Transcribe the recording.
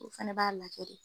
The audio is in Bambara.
O fɛnɛ b'a lajɛ de.